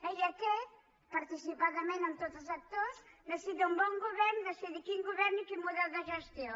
i aquest participadament amb tots els actors necessita un bon govern decidir quin govern i quin model de gestió